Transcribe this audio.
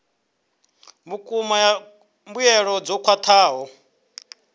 vhukuma ya mbuelo dzo khwathaho